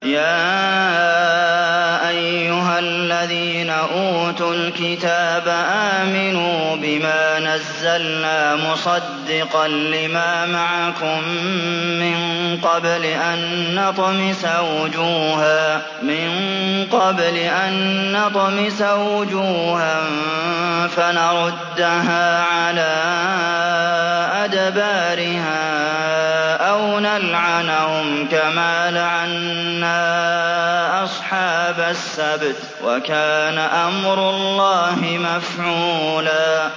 يَا أَيُّهَا الَّذِينَ أُوتُوا الْكِتَابَ آمِنُوا بِمَا نَزَّلْنَا مُصَدِّقًا لِّمَا مَعَكُم مِّن قَبْلِ أَن نَّطْمِسَ وُجُوهًا فَنَرُدَّهَا عَلَىٰ أَدْبَارِهَا أَوْ نَلْعَنَهُمْ كَمَا لَعَنَّا أَصْحَابَ السَّبْتِ ۚ وَكَانَ أَمْرُ اللَّهِ مَفْعُولًا